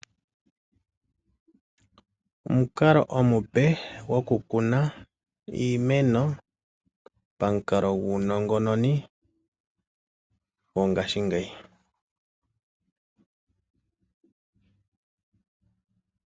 Omukalo omupe gwokukuna iimeno pamukalo guunongononi gongashingeyi.